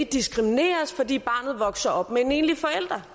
diskrimineres fordi barnet vokser op med en enlig forælder